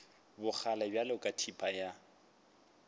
bogale bjalo ka thipa ya